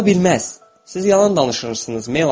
Ola bilməz, siz yalan danışırsınız, Melani.